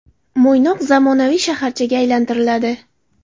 Mo‘ynoq zamonaviy shaharchaga aylantiriladi.